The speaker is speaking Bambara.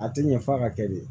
A tɛ ɲɛ f'a ka kɛ de